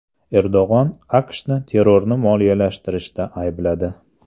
Erdo‘g‘on AQShni terrorni moliyalashtirishda aybladi.